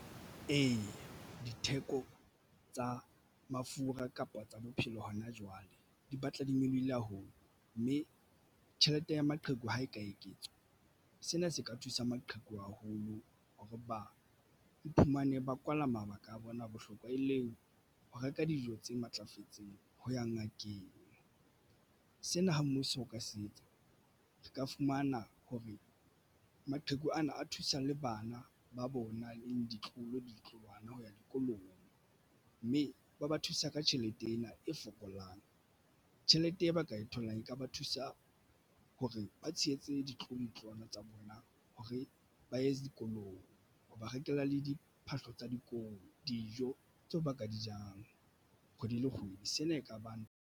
Ee, ditheko tsa mafura kapa tsa bophelo hona jwale di batla di nyolohile haholo mme tjhelete ya maqheku ha e ka eketswa. Sena se ka thusa maqheku haholo hore ba iphumane ba kwala mabaka a bona bohlokwa e leng ho reka dijo tse matlafetseng ho ya ngakeng. Sena ha mmuso o ka se etsa re ka fumana hore maqheku ana a thusa le bana ba bona ditloholo le ditloholwana ho ya dikolong mme ba ba thusa ka tjhelete ena e fokolang. Tjhelete e ba ka e tholang e ka ba thusa hore ba tshehetse ditlolo le ditloholwana tsa bona hore ba ye dikolong ho ba rekela le diphahlo tsa dikolo. Dijo tseo ba ka di jang kgwedi le kgwedi. Sena ekabang.